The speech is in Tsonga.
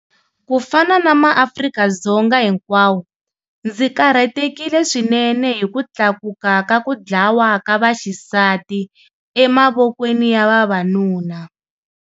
Ku fana na maAfrika-Dzonga hinkwawo, ndzi karhatekile swinene hi ku tlakuka ka ku dlawa ka vaxisati emavokweni ya vavanuna.